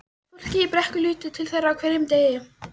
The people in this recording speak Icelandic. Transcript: Fólkið í Brekku lítur til þeirra á hverjum degi.